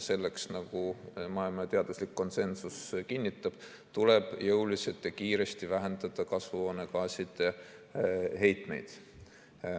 Selleks, nagu maailma teaduslik konsensus kinnitab, tuleb jõuliselt ja kiiresti vähendada kasvuhoonegaaside heitmeid.